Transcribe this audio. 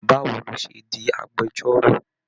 Báwo ló ṣe di agbẹ̀jọ́ro?